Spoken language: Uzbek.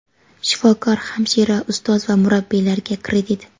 Shifokor, hamshira, ustoz va murabbiylarga kredit.